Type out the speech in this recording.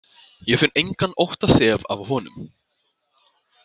Ég finn engan óttaþef af honum.